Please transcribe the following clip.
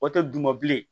O tɛ duguma bilen